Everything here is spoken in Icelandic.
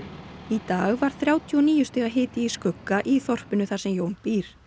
í dag var þrjátíu og níu stiga hiti í skugga í þorpinu þar sem Jón býr